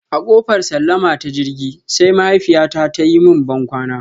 A kofar sallama ta jirgi, sai mahaifiyyata ta yi mun bankwana.